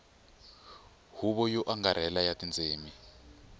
huvo yo angarhela ya tindzimi